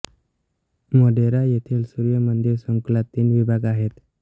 मोढेरा येथील सूर्य मंदिर संकुलात तीन विभाग आहेत